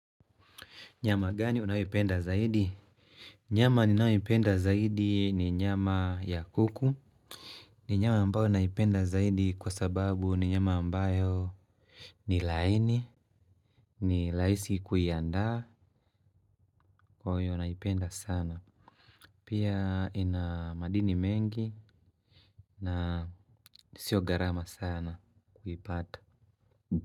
Nyama gani unayoipenda zaidi? Nyama ninayoipenda zaidi ni nyama ya kuku. Ni nyama ambayo naipenda zaidi kwa sababu ni nyama ambayo ni laini. Ni raisi kuiandaa kwa wenye wanaipenda sana. Pia ina madini mengi na sio gharama sana kuipata.